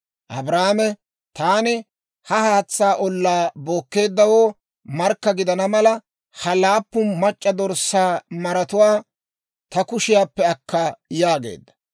Abrahaame, «Taani ha haatsaa ollaa bookkeeddawoo markka gidana mala, ha laappun mac'c'a dorssaa maratuwaa ta kushiyaappe akka» yaageedda.